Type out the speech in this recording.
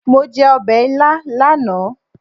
Mo jẹ ọbẹ̀ ilá lánàá.